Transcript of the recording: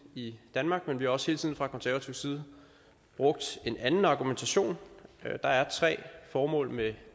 i danmark men vi har også hele tiden fra konservativ side brugt en anden argumentation der er tre formål med